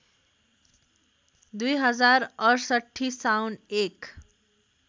२०६८ साउन १